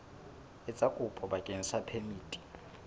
etsa kopo bakeng sa phemiti